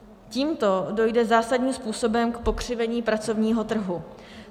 Tímto dojde zásadním způsobem k pokřivení pracovního trhu.